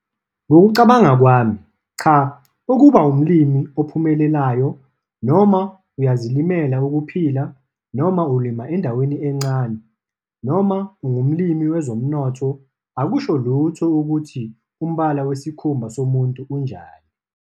Ngokucabanga kwami, CHA - ukuba umlimi ophumelelayo, noma uyazilimela ukuphila, noma ulima endaweni encane, noma ungumlimi wezomnotho akusho lutho ukuthi umbala wesikhumba somuntu unjani.